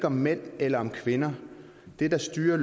om mænd eller kvinder det der styrer